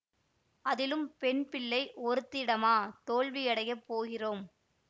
அதிலும் பெண்பிள்ளை ஒருத்தியிடமா தோல்வியடையப் போகிறோம்